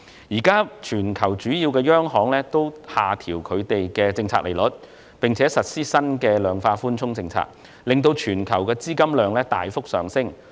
現時全球主要央行均下調政策利率，並實施新的量化寬鬆政策，令全球資金量大幅上升。